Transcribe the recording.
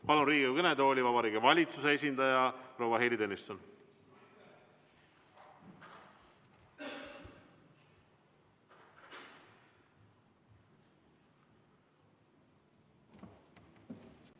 Palun Riigikogu kõnetooli Vabariigi Valitsuse esindaja proua Heili Tõnissoni!